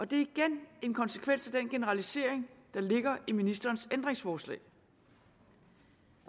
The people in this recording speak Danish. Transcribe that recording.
det er igen en konsekvens af den generalisering der ligger i ministerens ændringsforslag